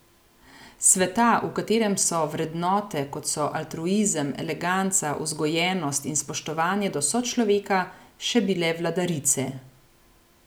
Sveta, v katerem so vrednote, kot so altruizem, eleganca, vzgojenost in spoštovanje do sočloveka, še bile vladarice.